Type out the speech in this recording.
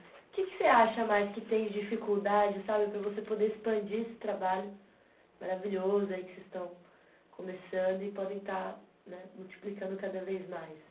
Que que você acha mais que tem de dificuldade sabe, para você poder expandir esse trabalho maravilhoso aí que vocês estão começando e podem estar, né, multiplicando cada vez mais?